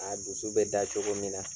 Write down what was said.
A dusu bɛ da cogo min na.